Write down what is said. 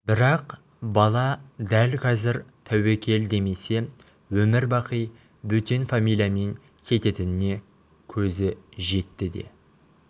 бірақ бала дәл қазір тәуекел демесе өмір-бақи бөтен фамилиямен кететініне көзі жетті де